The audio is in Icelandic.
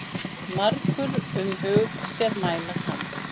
Margur um hug sér mæla kann.